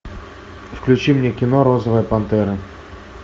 включи мне кино розовая пантера